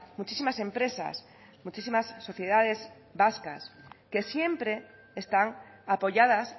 muchísimas empresas muchísimas sociedades vascas que siempre están apoyadas